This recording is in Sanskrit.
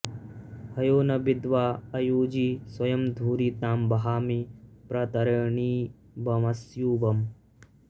हयो॒ न वि॒द्वाँ अ॑युजि स्व॒यं धु॒रि तां व॑हामि प्र॒तर॑णीमव॒स्युव॑म्